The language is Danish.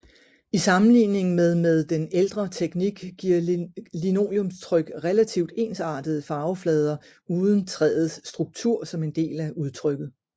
I sammenligning med med den ældre teknik giver linoleumstryk relativt ensartede farveflader uden træets struktur som en del af udtrykket